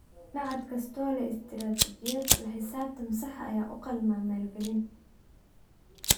Machad kasta oo leh istaraatiijiyad la xisaabtan sax ah ayaa u qalma maalgelin.